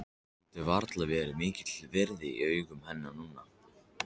Hann getur varla verið mikils virði í augum hennar núna.